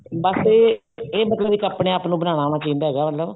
ਬੱਸ ਇਹ ਇਹ ਮਤਲਬ ਇੱਕ ਆਪਣੇ ਆਪ ਨੂੰ ਬਣਾਉਣਾ ਆਉਣਾ ਚਾਹੀਦਾ ਮਤਲਬ